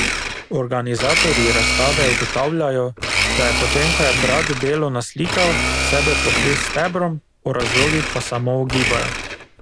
Organizatorji razstave ugotavljajo, da je potem ko je brat delo naslikal, sebe pokril s stebrom, o razlogih pa samo ugibajo.